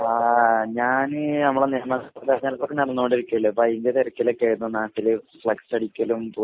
ആഹ് ഞാന് നമ്മുടെ നടന്നുകൊണ്ടിരിക്കല്ലേ അപ്പോ അതിൻറെതിരക്കിലൊക്കേയായിരുന്നു നാട്ടില് ഫ്ലക്സ് അടിക്കലും പോസ്റ്റ്റടിക്കലും